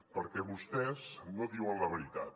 perquè vostès no diuen la veritat